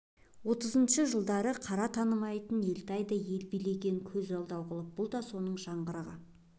отызыншы жылдары қара танымайтын елтайға да ел билеткен көз алдау қылып бұл да соның жаңғырығы